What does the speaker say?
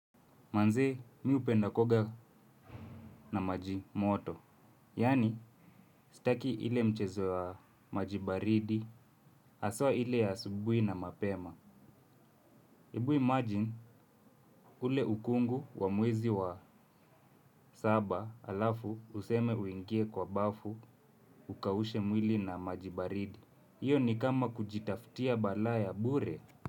Manzee, mi hupenda kuoga na maji moto. Yaani, staki ile mchezo wa majibaridi, haswa ile ya asubuhi na mapema. Hebu imagine, kule ukungu wa mwezi wa saba halafu useme uingie kwa bafu ukaushe mwili na maji baridi. Hiyo ni kama kujitafutia balaa ya bure.